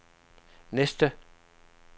næste